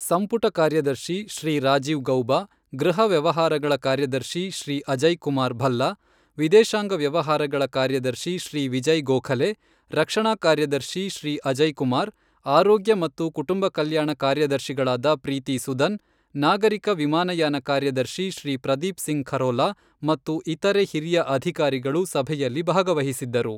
ಸಂಪುಟ ಕಾರ್ಯದರ್ಶಿ ಶ್ರೀ ರಾಜೀವ್ ಗೌಬ, ಗೃಹ ವ್ಯವಹಾರಗಳ ಕಾರ್ಯದರ್ಶಿ ಶ್ರೀ ಅಜಯ್ ಕುಮಾರ್ ಭಲ್ಲ, ವಿದೇಶಾಂಗ ವ್ಯವಹಾರಗಳ ಕಾರ್ಯದರ್ಶಿ ಶ್ರೀ ವಿಜಯ್ ಗೋಖಲೆ, ರಕ್ಷಣಾ ಕಾರ್ಯದರ್ಶಿ ಶ್ರೀ ಅಜಯ್ ಕುಮಾರ್, ಆರೋಗ್ಯ ಮತ್ತು ಕುಟುಂಬ ಕಲ್ಯಾಣ ಕಾರ್ಯದರ್ಶಿಗಳಾದ ಪ್ರೀತಿ ಸುದನ್, ನಾಗರಿಕ ವಿಮಾನಯಾನ ಕಾರ್ಯದರ್ಶಿ ಶ್ರೀ ಪ್ರದೀಪ್ ಸಿಂಗ್ ಖರೋಲಾ ಮತ್ತು ಇತರೆ ಹಿರಿಯ ಅಧಿಕಾರಿಗಳು ಸಭೆಯಲ್ಲಿ ಭಾಗಹಿಸಿದ್ದರು.